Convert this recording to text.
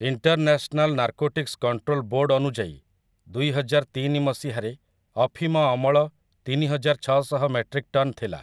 International narcotics control board ଅନୁଯାୟୀ, ଦୁଇହଜାରତିନି ମସିହାରେ ଅଫିମ ଅମଳ ତିନିହଜାରଛଅଶହ ମେଟ୍ରିକ୍ ଟନ୍ ଥିଲା ।